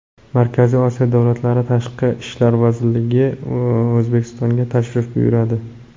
Markaziy Osiyo davlatlari tashqi ishlar vazirlari O‘zbekistonga tashrif buyuradi.